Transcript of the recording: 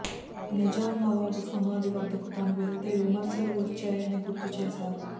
నిజాం నవాబు సమాధి వద్దకు తాను వెళితే విమర్శలు వచ్చాయని గుర్తు చేశారు